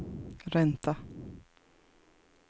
ränta